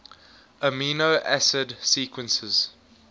amino acid sequences